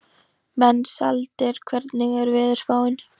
Mensalder, hvernig er veðurspáin?